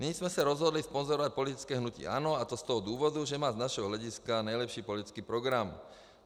Nyní jsme se rozhodli sponzorovat politické hnutí ANO, a to z toho důvodu, že má z našeho hlediska nejlepší politický program.